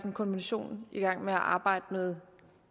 en kommission der arbejder med